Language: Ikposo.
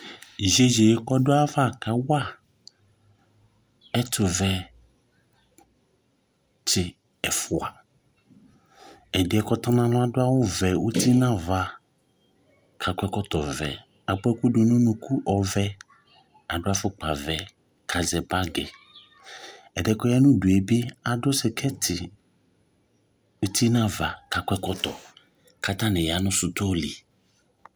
Ɩyeye yɛ kawa ɛtʋvɛtsɩ ɛfʋa ɛdɩɛ yɛ kʋ ɔtɔ nʋ alɔ yɛ adʋ ɛkʋvɛ uti nʋ ava kʋ akɔ ɛkɔtɔvɛ bʋa ɛkʋvɛ dʋnʋ ʋnʋkʋ dʋ afʋkpavɛ kʋ azɛ bagi ɛdɩ yɛ dʋ ayʋ udu yɛ adʋ sikɛti uti nʋ ava kʋ akɔ ɔkɔtɔ kʋ atanɩ yanʋ sʋtɔlɩ